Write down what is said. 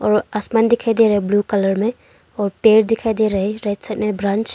और आसमान दिखाई दे रहा है ब्लू कलर में और पेड़ दिखाई दे रहा है राइट साइड में ब्रांच --